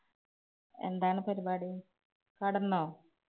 എന്താണ് പരിപാടി. കിടന്നോ?